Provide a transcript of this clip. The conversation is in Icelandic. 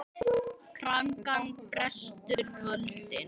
Krankan brestur völdin.